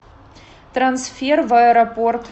трансфер в аэропорт